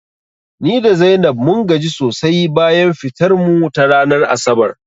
Ni da Zainab mun gaji sosai bayan fitar mu ta ranar asabar